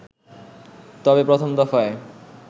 তবে প্রথম দফায়